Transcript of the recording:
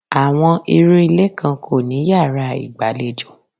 Àwọn irú ilé kan kò ní yàrá ìgbàlejò.